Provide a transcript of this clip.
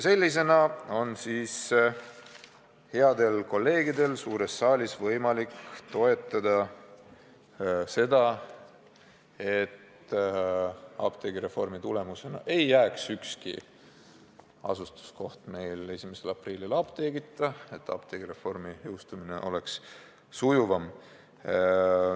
Nüüd on headel kolleegidel suures saalis võimalik toetada seda, et apteegireformi tõttu ei jää ükski asustuskoht 1. aprillil apteegita, et apteegireformi jõustumine on sujuvam.